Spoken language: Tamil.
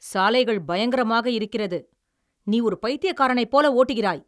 சாலைகள் பயங்கரமாக இருக்கிறது, நீ ஒரு பைத்தியக்காரனைப் போல ஓட்டுகிறாய்!